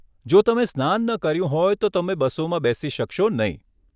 જો તમે સ્નાન ન કર્યું હોય તો તમે બસોમાં બેસી શકશો નહીં.